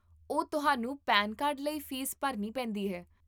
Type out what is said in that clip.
ਓਹ, ਤੁਹਾਨੂੰ PAN card ਲਈ ਫ਼ੀਸ ਭਰਨੀ ਪੈਂਦੀ ਹੈ?